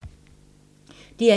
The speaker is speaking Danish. DR1